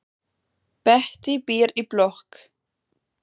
Bettý býr í blokk.